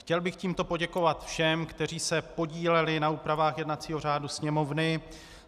Chtěl bych tímto poděkovat všem, kteří se podíleli na úpravách jednacího řádu Sněmovny.